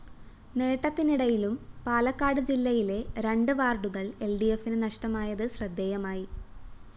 നേട്ടത്തിനിടയിലും പാലക്കാട് ജില്ലയിലെ രണ്ട്് വാര്‍ഡുകള്‍ എല്‍ഡിഎഫിന് നഷ്ടമായത് ശ്രദ്ധേയമായി